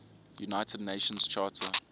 united nations charter